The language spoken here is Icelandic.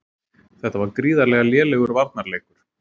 Þetta var gríðarlega lélegur varnarleikur.